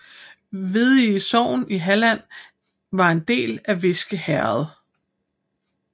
Veddige sogn i Halland var en del af Viske herred